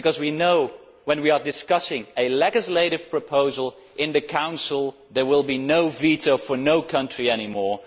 We know when we are discussing a legislative proposal that in the Council there will be no veto for any country any more.